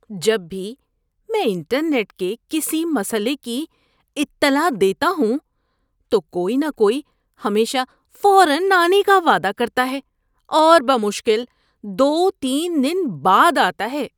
جب بھی میں انٹرنیٹ کے کسی مسئلے کی اطلاع دیتا ہوں تو کوئی نہ کوئی ہمیشہ فوراً آنے کا وعدہ کرتا ہے، اور بمشکل دو تین دن بعد آتا ہے۔